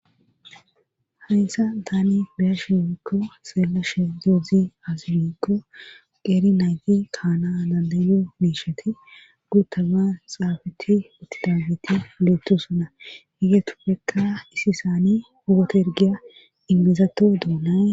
Hayssa tani beyashi worikko seelashe doezi azibikko qeeri naygi kaana dandayo miisheti guuttama xaafeti uttidageti leettosona higetupfekka isi saani hugato ergiya ingezato doonae